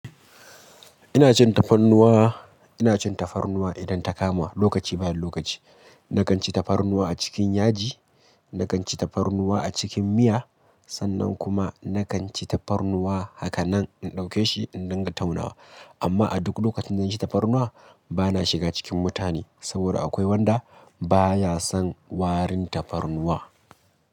Ina cin tafarnuwa, ina cin tafarnuwa idan ta kamuwa, lokaci bayan lokaci. Nakan ci tafarnuwa a cikin yaji, nakan ci tafarnuwa a cikin miya, sannan kuma nakan ci tafarnuwa haka nan in ɗauke shi in dinga taunawa. Amma a duk lokacin da na ci tafarnuwa bana shiga cikin mutane saboda akwai wanda baya son warin tafarnuwa.